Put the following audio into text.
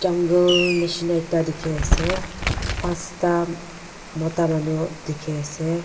jungle neshina ekta dekhai ase pansta mota manu dekhi ase.